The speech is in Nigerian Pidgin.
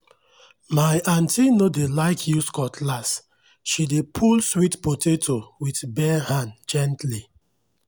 my aunty no dey like use cutlass she dey pull sweet potato with bare hand gently.